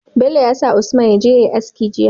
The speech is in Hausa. Bello yasa a usman yaje yayi aski jiya